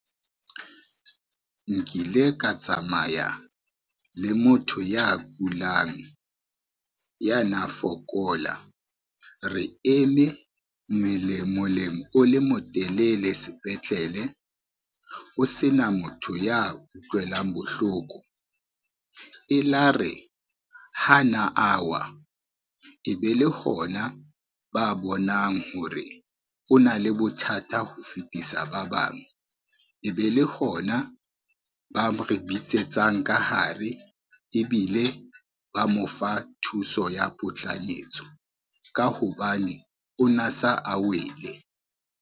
Nkile ka tsamaya le motho ya kulang, ya na fokola, re eme moleng o le motelele sepetlele ho sena motho ya utlwelang bohloko. E la re ha na a wa e be le hona ba bonang hore, o na le bothata ho fetisa ba bang e be le hona ba re bitsetsang ka hare ebile ba mo fa thuso ya potlanyetso, ka hobane o na sa a wele.